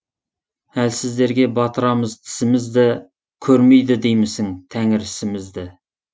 әлсіздерге батырамыз тісімізді көрмейді деймісің тәңір ісімізді